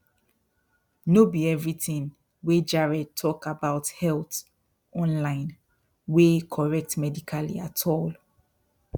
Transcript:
no be everything wey jared talk about health online wey correct medically at all